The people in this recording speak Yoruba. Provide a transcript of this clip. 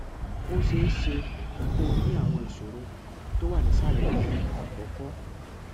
ó ṣe é ṣe kó ní àwọn ìṣòro tó wà nísàlẹ yìí àkọkọ